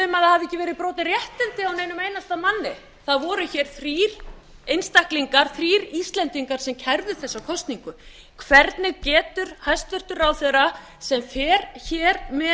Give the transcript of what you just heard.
á einum einasta manni það voru hér þrír einstaklingar þrír íslendingar sem kærðu þessa kosningu hvernig getur hæstvirtur ráðherra sem fer hér með